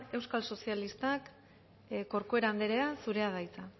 euskal sozialistak corcuera anderea zurea da hitza